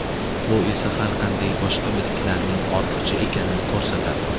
Bu esa har qanday boshqa bitiklarning ortiqcha ekanini ko‘rsatadi.